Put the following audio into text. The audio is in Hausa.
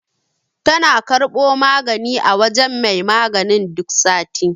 Tana karɓo magani a wajen mai maganin duk sati.